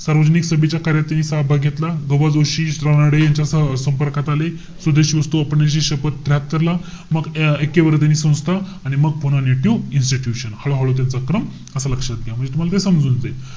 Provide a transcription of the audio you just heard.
सार्वजनिक सभेच्या कार्यतहि सहभाग घेतला. ग बा जोशी, रानडे यांच्यासह संपर्कात आले. स्वदेशी वस्तू वापरण्याची शपथ त्र्याहात्तर ला. मग ऐक्यवर्धिनी संस्था. आणि मग पुणे नेटिव्ह इन्स्टिट्यूश. हळहळू त्याचा क्रम असा लक्षात घ्या. म्हणजे तुम्हाला ते समजून जाईल.